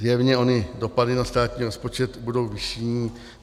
Zjevně ony dopady na státní rozpočet budou vyšší.